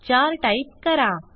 चार टाईप करा